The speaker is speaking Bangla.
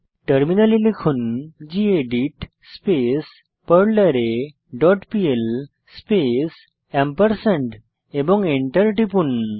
টার্মিনালে লিখুন গেদিত স্পেস পারলারে ডট পিএল স্পেস এবং এন্টার টিপুন